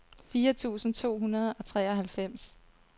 fire tusind to hundrede og treoghalvfems